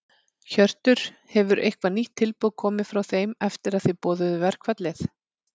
Hjörtur: Hefur eitthvað nýtt tilboð komið frá þeim eftir að þið boðuðu verkfallið?